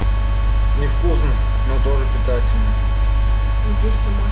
невкусно но тоже питательно